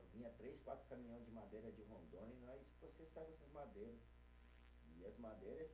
Vinha três, quatro caminhão de madeira de Rondônia, e nós processava essas madeiras.